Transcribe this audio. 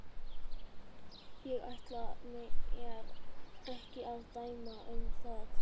Ég ætla mér ekki að dæma um það.